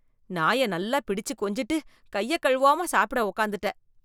நாய நல்லா பிடிச்சி கொஞ்சிட்டு, கைய கழுவாம சாப்ட உக்காந்துட்ட...